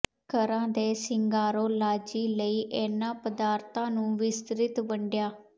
ਘਰਾਂ ਦੇ ਸ਼ਿੰਗਾਰੋਲਾਜੀ ਲਈ ਇਹਨਾਂ ਪਦਾਰਥਾਂ ਨੂੰ ਵਿਸਤ੍ਰਿਤ ਵੰਡਿਆ